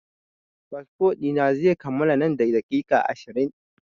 Fasfo ɗi na zai kammala nan da daƙiƙa ashirin.